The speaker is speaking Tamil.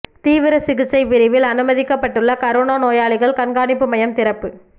தீவிர சிகிச்சை பிரிவில் அனுமதிக்கப்பட்டுள்ள கரோனா நோயாளிகள் கண்காணிப்பு மையம் திறப்பு